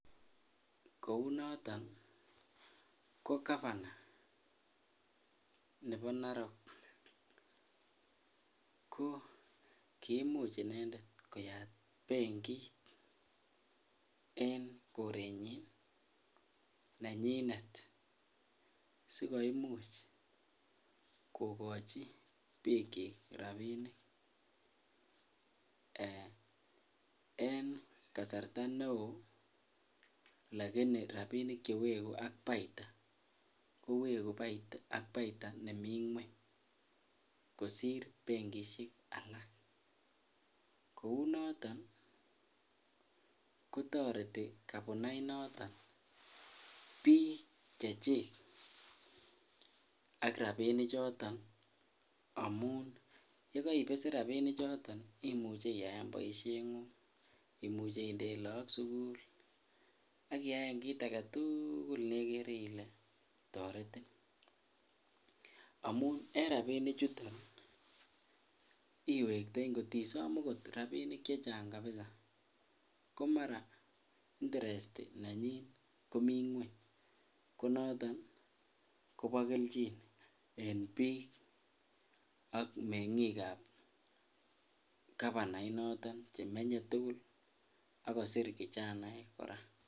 Kou noton ko gavana nebo Narok ko kimuch inendet koyat benkit en korenyin nenyinet asi komuch kogochi bikyik rabinik en kasarta neo lakini rabinik chewegu ak paita kowegu ak paita nemi ngwony kosir benkisiek alak kou noton ko toreti gavana I noton bik chechik ak rabinichato amun yekoibesen rabinichato imuche iyaen boisiengung imuche indeen lagok sukul ak iyaen kit age tugul nekere ile toretetin amun en rabinichuton iwektoi ngot isom okot rabinik chechang kabisa ko mara interest nenyin komi ngwony ko noton kobo kelchin en bik ak mengikab gavana inoto chemenye tugul kosir kijanaek kora